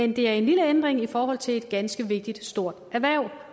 det er en lille ændring i forhold til et ganske vigtigt stort erhverv